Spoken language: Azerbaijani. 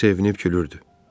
Hamı sevinib gülürdü.